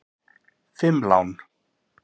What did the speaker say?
Fimm lán!